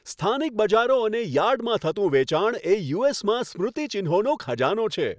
સ્થાનિક બજારો અને યાર્ડમાં થતું વેચાણ એ યુ.એસ.માં સ્મૃતિચિહ્નોનો ખજાનો છે.